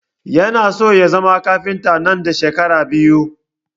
Ya na so ya zama kafinta nan da shekara biyu